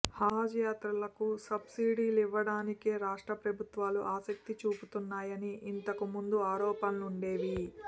హజ్ యాత్రికులకు సబ్సిడీ లివ్వటా నికే రాష్ట్రప్రభుత్వాలు ఆసక్తి చూపుతున్నాయని ఇంతకుముందు ఆరోప ణలుండేవి